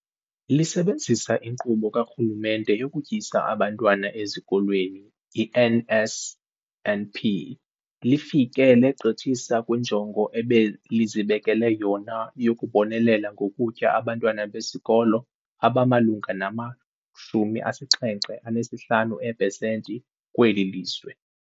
Lisebenzisa iNkqubo kaRhulumente yokuTyisa Abantwana Ezikolweni, i-NSNP, lifike legqithisa kwinjongo ebelizibekele yona yokubonelela ngokutya abantwana besikolo abamalunga nama-75 eepesenti kweli lizwe.